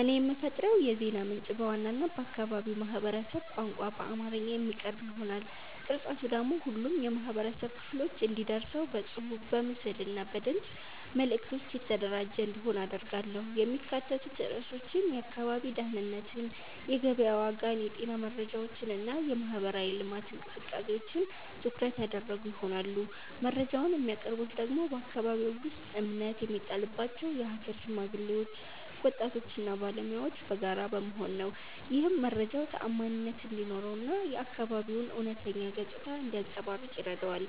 እኔ የምፈጥረው የዜና ምንጭ በዋናነት በአካባቢው ማህበረሰብ ቋንቋ በአማርኛ የሚቀርብ ይሆናል። ቅርጸቱ ደግሞ ሁሉም የህብረተሰብ ክፍሎች እንዲደርሰው በጽሑፍ፣ በምስል እና በድምፅ መልዕክቶች የተደራጀ እንዲሆን አደርጋለሁ። የሚካተቱት ርዕሶችም የአካባቢ ደህንነትን፣ የገበያ ዋጋን፣ የጤና መረጃዎችን እና የማህበራዊ ልማት እንቅስቃሴዎችን ትኩረት ያደረጉ ይሆናሉ። መረጃውን የሚያቀርቡት ደግሞ በአከባቢው ውስጥ እምነት የሚጣልባቸው የሀገር ሽማግሌዎች፣ ወጣቶች እና ባለሙያዎች በጋራ በመሆን ነው። ይህም መረጃው ተዓማኒነት እንዲኖረው እና የአካባቢው እውነተኛ ገጽታ እንዲያንጸባርቅ ይረዳዋል።